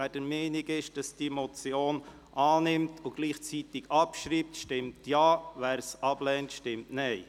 Wer diese Motion annimmt und gleichzeitig abschreibt, stimmt Ja, wer dies ablehnt, stimmt Nein.